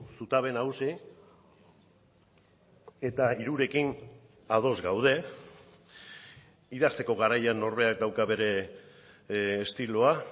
zutabe nagusi eta hirurekin ados gaude idazteko garaian norberak dauka bere estiloa